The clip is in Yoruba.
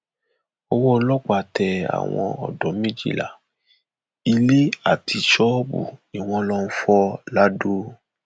owó ọlọpàá tẹ àwọn odò méjìlá ilé àti ṣọọbù ni wọn lọọ fọ lado